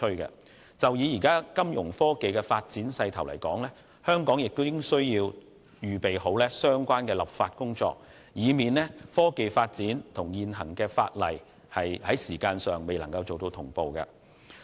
針對目前金融科技的發展勢頭，香港亦須籌備相關的立法工作，以防現行法例未能追上科技發展的步伐。